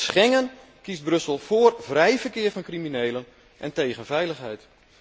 En met Schengen kiest Brussel voor vrij verkeer van criminelen en tegen veiligheid.